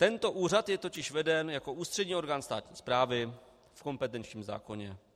Tento úřad je totiž veden jako ústřední orgán státní správy v kompetenčním zákoně.